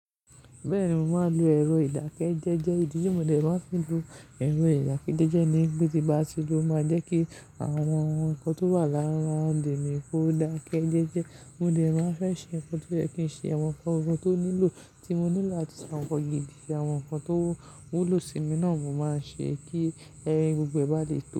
Bẹ́ẹ̀ni, mo máa ń lo ẹ̀rọ ìdákẹ́jẹ́jẹ́. Ìdí tí mo lè máa fi lo ẹ̀rọ ìdákẹ́jẹ́jẹ́ ni pé tí bá ti lò ó máa ń jẹ́ kí àwọn ohun kan tó wà láàrín roundè mi kó dákẹ́ jẹ́jẹ́. Mo lè máa fẹ́ ṣe ohun tó fẹ́ kí n ṣe, àwọn nǹkan ohun tó nílò tí mo nílò àti àwọn ọ̀yẹ̀yì, àwọn ohun kan tó wúlò sí mi náà mo máa ń ṣe kí ẹgbẹ́ gbogbo ẹ bá lè tẹ̀lé.